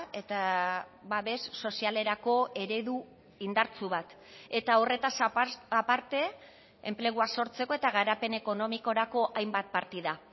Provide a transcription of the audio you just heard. eta babes sozialerako eredu indartsu bat eta horretaz aparte enplegua sortzeko eta garapen ekonomikorako hainbat partida